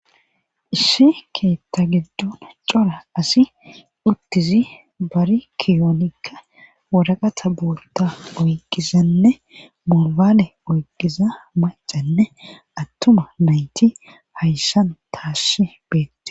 ishi keetta gidon cora asi uttizi bari kiyoonikka waraqata boolta oyqqizanne mobaale oyqqiza macanne attuma nayti hayssan taassi beettes